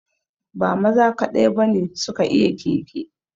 Ba maza kaɗai ba ne su ka iya keke